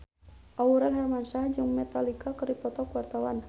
Aurel Hermansyah jeung Metallica keur dipoto ku wartawan